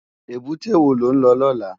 Ébùté wó ló n lò lòlá?